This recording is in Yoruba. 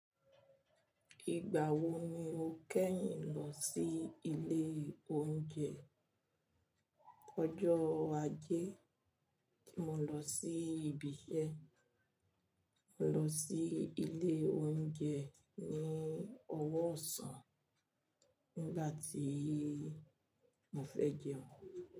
Ìgbà wo ni o kẹ́yìn lọ sí ilé oúnjẹ? Ọjọ́ ajé tí mo lọ sí ibi iṣẹ́, mo lọ sí ilé oúnjẹ ní ọwọ́ ọ̀sán nígbà tí mo fẹ́ jẹun.